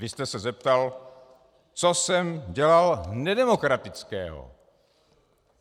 Vy jste se zeptal, co jsem dělal nedemokratického...